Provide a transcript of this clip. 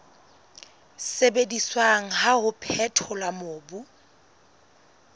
sebediswang wa ho phethola mobu